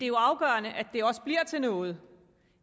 jo afgørende at det også bliver til noget